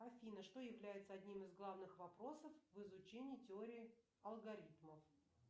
афина что является одним из главных вопросов в изучении теории алгоритмов